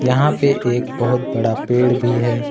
यहां पे एक बहोत बड़ा पेड़ भी है।